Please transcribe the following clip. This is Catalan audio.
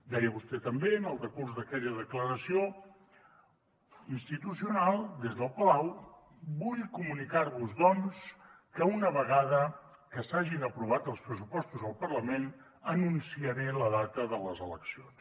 deia vostè també en el decurs d’aquella declaració institucional des del palau vull comunicar vos doncs que una vegada que s’hagin aprovat els pressupostos al parlament anunciaré la data de les eleccions